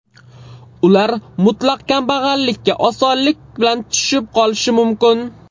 Ular mutlaq kambag‘allikka osonlik bilan tushib qolishi mumkin.